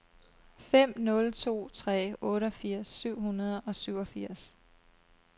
fem nul to tre otteogfirs syv hundrede og syvogfirs